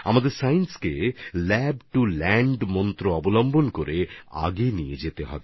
আমাদের বিজ্ঞানকে lab to land এর মন্ত্রে এগিয়ে নিয়ে যেতে হবে